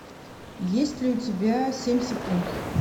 есть ли у тебя семь секунд